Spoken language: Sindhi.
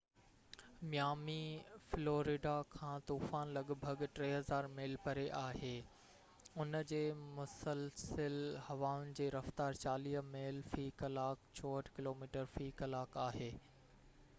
ميامي، فلوريڊا کان طوفان لڳ ڀڳ 3،000 ميل پري آهي، ان جي مسلسل هوائن جي رفتار 40 ميل في ڪلاڪ 64 ڪلوميٽر في ڪلاڪ آهي